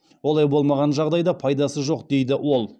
олай болмаған жағдайда пайдасы жоқ деді ол